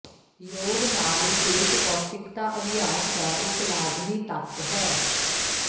ਯੋਗ ਨਾਲ ਵਿਸ਼ੇਸ਼ ਪੌਸ਼ਟਿਕਤਾ ਅਭਿਆਸ ਦਾ ਇੱਕ ਲਾਜ਼ਮੀ ਤੱਤ ਹੈ